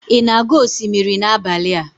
ị na-aga osimiri n'abalị a?